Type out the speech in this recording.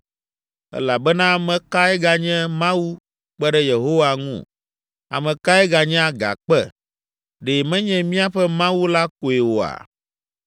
Elabena ame kae ganye Mawu kpe ɖe Yehowa ŋu? Ame kae ganye Agakpe? Ɖe menye míaƒe Mawu la koe oa?